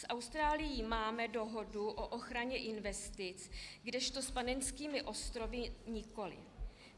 S Austrálií máme dohodu o ochraně investic, kdežto s Panenskými ostrovy nikoliv.